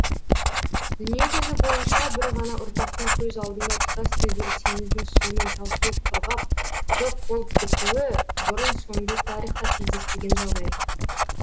дүние жүзі бойынша бір ғана ұрпақтың көз алдыңда тұтастай бір теңіздің суының таусылып құрғап жоқ болып кетуі бұрын соңды тарихта кездеспеген жағдай